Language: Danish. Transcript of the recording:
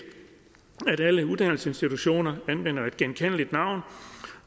at alle uddannelsesinstitutioner anvender et genkendeligt navn